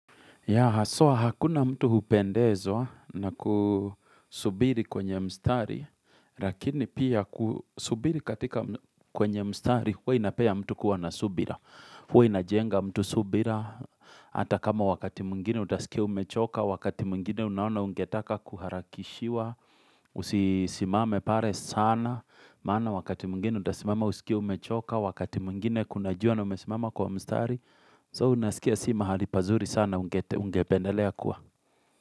Ya, haswa hakuna mtu hupendezwa na kusubiri kwenye mstari, lakini pia kusubiri katika kwenye mstari, huwe inapea mtu kuwa na subira. Huwa inajenga mtu subira. Ata kama wakati mwngine utasikia umechoka, wakati mwingine unaona ungetaka kuharakishiwa, usisimame pare sana. Maana wakati mwingine utasimama usikia umechoka, wakati mwingine kuna jua na umesimama kwa mstari, so unasikia s imahali pazuri sana ungete. Ugependele akua.